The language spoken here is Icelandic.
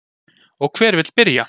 Og hver vill byrja.